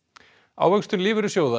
ávöxtun lífeyrissjóða